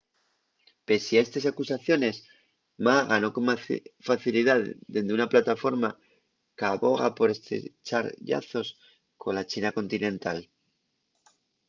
pesie a estes acusaciones ma ganó con facilidá dende una plataforma qu’aboga por estrechar llazos cola china continental